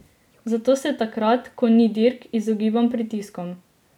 Zato se takrat, ko ni dirk, izogibam pritiskom.